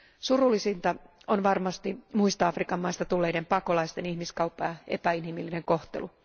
Surullisinta on varmasti muista Afrikan maista tulleiden pakolaisten ihmiskauppa ja epäinhimillinen kohtelu.